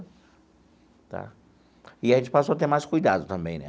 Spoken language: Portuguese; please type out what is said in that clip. Tá. E a gente passou a ter mais cuidado também, né?